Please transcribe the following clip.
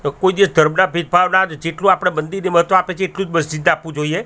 લોકો જે ધર્મના ભેદભાવના જેટલુ આપડે મંદિર એમા તો આપે છે એટલુજ મસ્જિદને આપવુ જોઈએ.